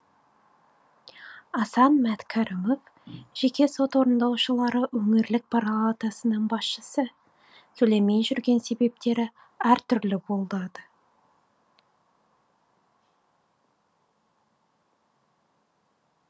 асан мәткәрімов жеке сот орындаушылары өңірлік парлатасының басшысы төлемей жүрген себептері әртүрлі болады